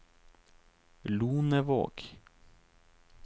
Lonevåg